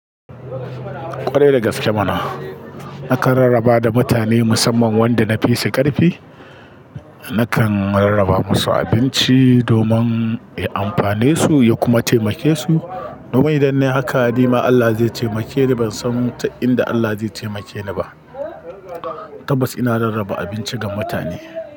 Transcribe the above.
Ƙwarai dagaskene mana. Nakan rarraba da mutane musamman wanda na fi su ƙarfi. Nakan rarraba masu abinci domin ya amfanesu ya kuma taimakesu. Domin idan nayi haka, nima Allah zai taimake ni. Ban san ta inda Allah zai taimake ni ba tabbas ina rarraba abinci ga mutane.